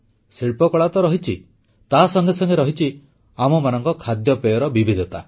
ଶିଳ୍ପକଳା ତ ରହିଛି ତା ସଙ୍ଗେ ସଙ୍ଗେ ରହିଛି ଆମମାନଙ୍କ ଖାଦ୍ୟପେୟର ବିବିଧତା